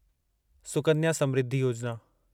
Sukanya Samriddhi Yojana